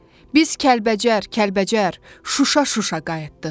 Biz Kəlbəcər, Kəlbəcər, Şuşa, Şuşa qayıtdıq.